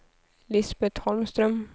Lisbeth Holmström